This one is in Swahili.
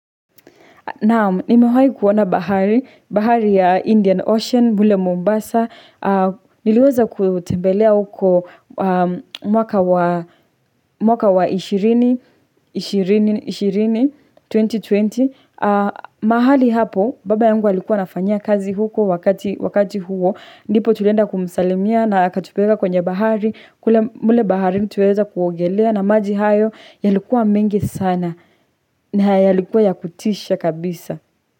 Naam, nimewahi kuona bahari, bahari ya Indian Ocean, mule Mombasa. Niliweza kutembelea huko mwaka wa ishirini ishirini, 2020. Mahali hapo, baba yangu alikuwa anafanyia kazi huko wakati huo. Ndipo tulienda kumsalimia na akatupeleka kwenye bahari. Kule mule baharini tuliweza kuogelea na maji hayo, yalikuwa mengi sana. Na yalikuwa ya kutisha kabisa.